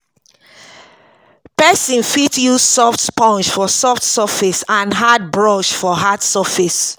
Person fit use soft sponge for soft surface and hard brush for hard surface